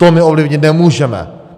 To my ovlivnit nemůžeme.